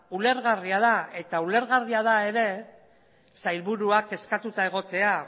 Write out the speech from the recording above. ulergarria da eta ulergarria da ere sailburua kezkatuta egotea